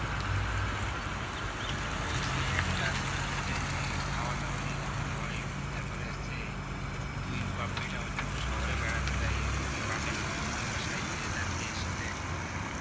ওই যে একটা আছে না যেইটা যে খাওয়া-দাওয়া নিয়ে ঝামেলা হয় তারপরে হচ্ছে দুই বাপ্ বেটা অন্য শহরে বেড়াতে যায় এবার যে বাপের বন্ধুর বাসায় যে তার একটা মেয়ের সাথে একজন